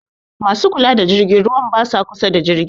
Ma su kula da jirgin ruwan ba sa kusa da jirgin.